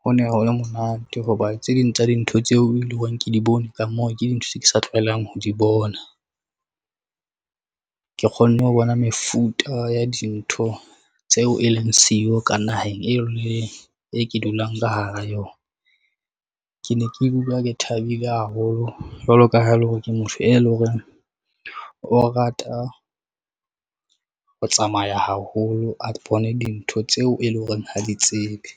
ho ne ho le monate hoba tse ding tsa dintho tseo e leng hore re ke di bone. Ka moo ke dintho tse ke sa tlwaelang ho di bona. Ke kgonne ho bona mefuta ya ya dintho tseo e leng siyo ka naheng, e leng e ke dulang ka hara yona. Ke ne ke dula ke thabile haholo jwalo ka ha ele hore ke motho e leng hore o rata ho tsamaya haholo, a bone dintho tseo e leng hore ha di tsebe.